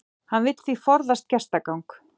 Hann vill því forðast gestagang